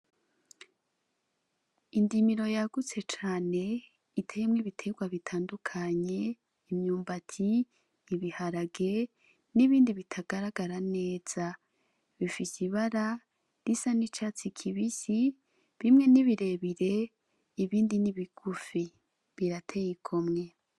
Indimiro yagutse cane itemwa ibiterwa bitandukanye imyumbati ibiharage n'ibindi bitagaragara neza bifise ibara risa n'icatsi kibisi bimwe nibirebire ibindi n'ibigufi birategwa kumwe.